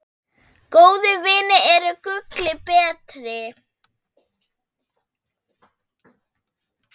Góðir vinir eru gulli betri.